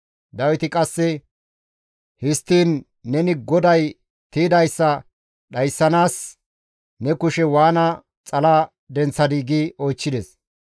Dawiti qasse, «Histtiin neni GODAY tiydayssa dhayssanaas ne kushe waana xala denththadii?» gi oychchides.